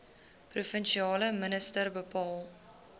provinsiale minister bepaal